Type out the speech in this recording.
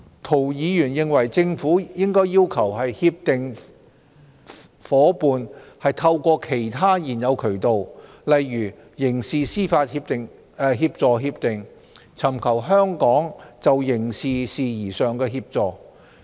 涂議員認為政府應要求協定夥伴透過其他現有渠道，例如刑事司法協助協定，尋求香港就刑事事宜上的協助。